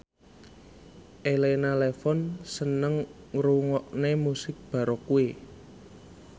Elena Levon seneng ngrungokne musik baroque